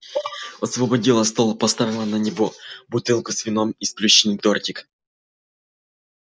освободила стол поставила на него бутылку с вином и сплющенный тортик